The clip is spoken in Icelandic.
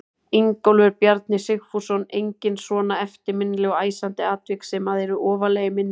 Ingólfur Bjarni Sigfússon: Engin svona eftirminnileg og æsandi atvik sem að eru ofarlega í minni?